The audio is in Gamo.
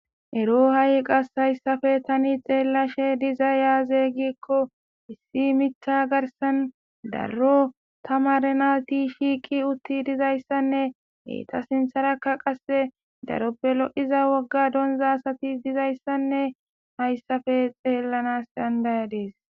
Ero ha'i qas hayssafe tani xeellashe diza yaaze gikko issi mitha garsan darro ta marena ti shiiki utti dizayssanne hee ta sintharakka qasse daroppe lo'iza wogga donza asati dizayssanne hayssafe xeellanas dandaya dees.